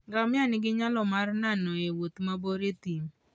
Ngamia nigi nyalo mar nano e wuoth mabor e thim.